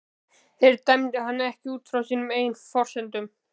Þeir dæmdu hann ekki út frá sínum eigin forsendum.